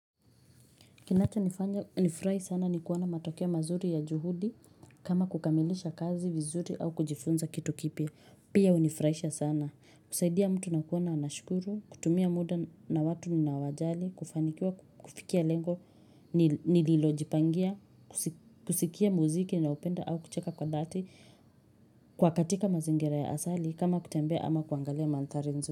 Kinacho nifurahi sana ni kuona matokeo mazuri ya juhudi kama kukamilisha kazi vizuri au kujifunza kitu kipya. Pia uni furahisha sana. Kusaidia mtu na kuona anashukuru, kutumia mda na watu nina wajali, kufanikiwa, kufikia lengo, nililo jipangia, kusikia muziki na upenda au kucheka kwa dati kwa katika mazingira ya asali kama kutembea ama kuangalia manthari nzuri.